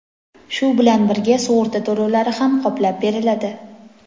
shu bilan birga sug‘urta to‘lovlari ham qoplab beriladi.